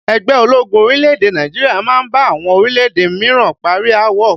Ẹgbẹ́ ológun orílẹ̀-èdè Nàìjíríà máa ń bá àwọn orílẹ̀-èdè míràn parí aáwọ̀